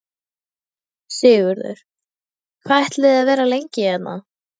Sigurður: Hvað ætlið þið að vera lengi hérna?